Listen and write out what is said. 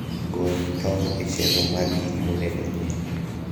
gol tong e chenro mar gik monego onyiew